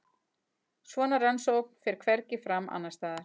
Svona rannsókn fer hvergi fram annarsstaðar